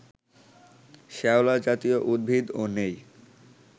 শেওলা জাতীয় উদ্ভিদও নেই